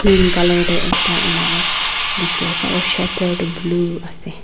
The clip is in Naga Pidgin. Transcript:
Pink colour tey ekta enika dekhi ase aro shatter tu blue ase.